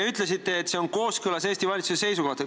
Ütlesite, et see on kooskõlas Eesti valitsuse seisukohtadega.